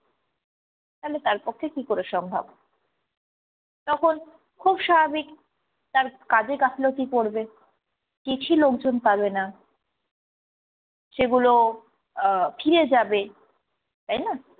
তালে তার পক্ষে কি করে সম্ভব? তখন খুব স্বাভাবিক তার কাজে গাফিলতি পরবে, চিঠি লোকজন পাবে না, সেগুলো আহ ফিরে যাবে, তাই না?